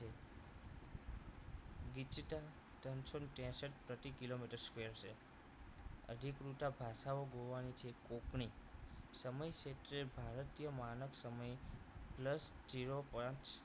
ત્રણસો ત્રેસઠ પ્રતિ કિલો મીટર square છે અધિકૃતા ભાષાઓ છે ગોવાની કોપણી સમય ક્ષેત્રે ભારતીય માનવ સમય plus zero પાંચ